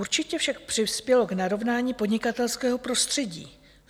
Určitě však přispělo k narovnání podnikatelského prostředí.